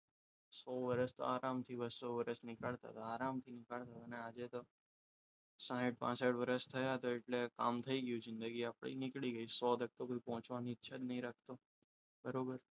સો વર્ષ તો આરામથી બસો વર્ષ નીકળતા આરામથી નીકળતા ને આજે સાહિથ પાસથ વર્ષ થાય એટલે કામ થઈ ગયું છે જિંદગી આપણે નીકળી ગઈ સો સુધી આપણે પહોંચવાની ઈચ્છા નથી રાખતા બરાબર